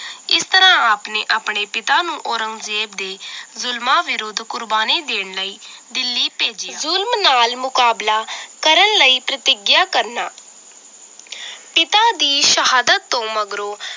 ਇਸ ਤਰਾਹ ਆਪ ਨੇ ਆਪਣੇ ਪਿਤਾ ਨੂੰ ਔਰੰਗਜ਼ੇਬ ਦੇ ਜ਼ੁਲਮਾਂ ਵਿਰੁੱਧ ਕੁਰਬਾਨੀ ਦੇਣ ਲਈ ਦਿੱਲੀ ਭੇਜਿਆ ਜ਼ੁਲਮ ਨਾਲ ਮੁਕਾਬਲਾ ਕਰਨ ਲਈ ਪ੍ਰਤਿਗਿਆ ਕਰਨਾ ਪਿਤਾ ਦੀ ਸ਼ਹਾਦਤ ਤੋਂ ਮਗਰੋਂ